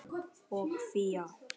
og Fía.